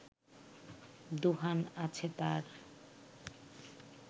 দুহান আছে তার